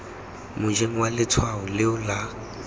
mojeng wa letshwao leo la